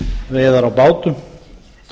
veiðar á bátum